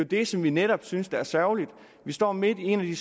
det som vi netop synes er sørgeligt vi står midt i en af de